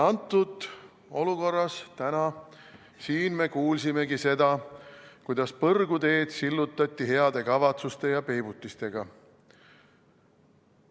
Ja täna siin me kuulsimegi seda, kuidas põrguteed sillutati heade kavatsuste ja peibutistega.